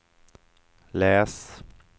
läs